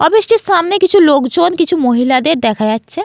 Office -টির সামনে কিছু লোকজন কিছু মহিলাদের দেখা যাচ্ছে।